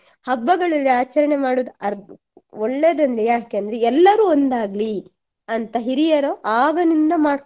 ಹಬ್ಬಗಳಲ್ಲಿ ಆಚರಣೆ ಮಾಡುದು ಒಳ್ಳೆದಂದ್ರೆ ಯಾಕಂದ್ರೆ ಎಲ್ಲರು ಒಂದಾಗ್ಲಿ ಅಂತ ಹಿರಿಯರು ಆಗದಿಂದ